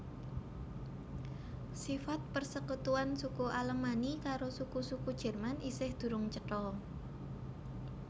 Sifat persekutuan suku Alemanni karo suku suku Jerman isih durung cetha